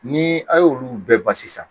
Ni a y'olu bɛɛ ban sisan